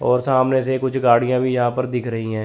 और सामने से कुछ गाड़ियां भी यहां पर दिख रही हैं।